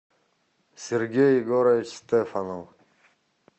сергей егорович стефанов